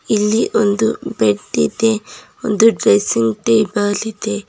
ಇಲ್ಲಿ ಒಂದು ಬೆಡ್ಡಿ ದೆ ಒಂದು ಡ್ರೆಸ್ಸಿಂಗ್ ಟೇಬಲ್ ಇದೆ.